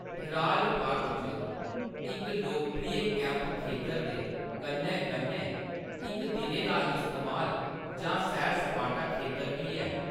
Herald Park च इक लोकप्रिय कैंप खेतर दे कन्नै-कन्नै इक दिनै दा इस्तेमाल जां सैर-सपाटा खेतर बी ऐ।